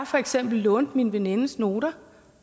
for eksempel lånte min venindes noter